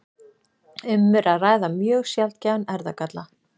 Um er að ræða mjög sjaldgæfan erfðagalla.